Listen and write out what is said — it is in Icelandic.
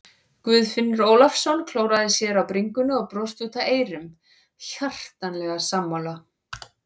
Guðfinnur Ólafsson klóraði sér á bringunni og brosti út að eyrum, hjartanlega sammála.